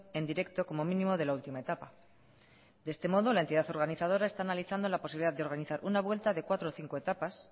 en directo como mínimo de la última etapa de este modo la entidad organizadora está analizando la posibilidad de organizar una vuelta de cuatro o cinco etapas